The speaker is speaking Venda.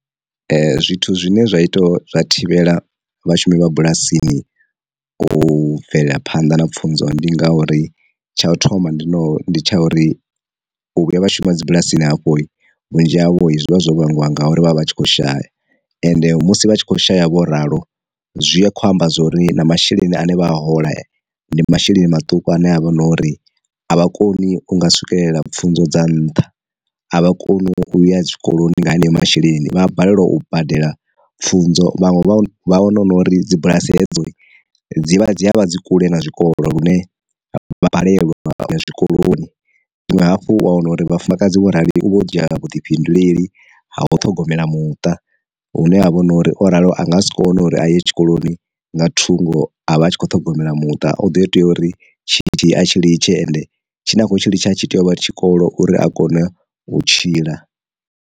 Zwithu zwine zwa ita zwa thivhela vhashumi vha bulasini u bvelaphanḓa na pfunzo ndi ngauri tsha u thoma ndi no ndi tsha uri, u vhuya vha shuma dzi bulasini havho vhunzhi havho zwivha zwo vhangiwa ngauri vha vha vha tshi khou shaya, ende musi vha tshi kho shaya vho ralo, zwi a kho amba zwori na masheleni ane vha a hola ndi masheleni maṱuku ane avha na uri a vha koni u nga swikelela pfhunzo dza nṱha, a vha koni u ya tshikoloni nga haneyo masheleni vha a balelwa u badela pfunzo vhaṅwe vha wana hu nori dzi bulasi hedzo dzi vha dzi havha dzi kule na zwikolo lune vha balelwa zwikoloni. Zwinwe hafhu wa wana uri vhafumakadzi wo rali u vha u dzhia vhuḓifhinduleli ha ho ṱhogomela muṱa hune ha vha na uri o ralo anga sikone uri a ye tshikoloni nga thungo a vha a tshi kho ṱhogomela muṱa o ḓi tea uri tshitzhili a tshi litshe ende tshine a khou tshi litsha tshi tea uvha ri tshikolo uri a kone u tshila.